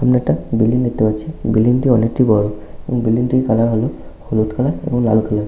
একটি বিল্ডিং দেখতে পাচ্ছি বিল্ডিং টি অনেকটি বড় এবং বিল্ডিং টির কালার হলো হলুদ কালার এবং লাল কালার ।